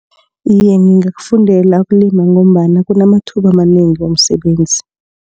Iye ngingakakufundela ukulima ngombana kunamathuba amanengi womsebenzi.